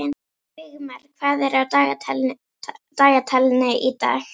Vígmar, hvað er á dagatalinu í dag?